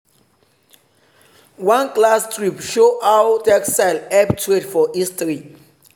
one class trip show how textile help trade for history.